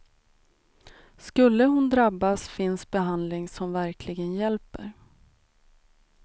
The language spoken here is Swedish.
Skulle hon drabbas finns behandling som verkligen hjälper.